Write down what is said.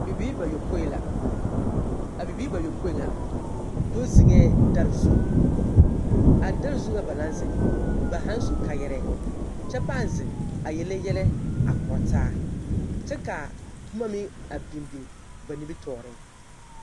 Bibiiri bayopõi la. A bibiiri bayopõi ŋa do zeŋɛɛ dɛre zu. A dɛre zu ŋ aba naŋ zeŋ, ba haaŋ su kaayɛrɛɛ kyɛ pãã zeŋ a yele yɛlɛ a kora taa kyɛ ka boma meŋ a biŋ biŋ ba nimitɔɔreŋ.